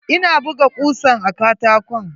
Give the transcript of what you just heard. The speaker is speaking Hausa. Ina buga kusan a katakon.